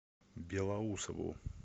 белоусову